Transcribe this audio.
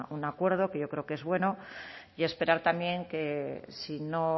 un acuerdo que yo creo que es bueno y esperar también que si no